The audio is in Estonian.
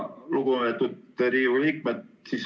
Lugupeetud Riigikogu liikmed!